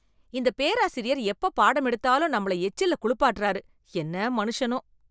இந்த பேராசிரியர் எப்ப பாடமெடுத்தாலும் நம்மள எச்சில்ல குளுப்பாட்டுறாரு, என்ன மனிஷனோ.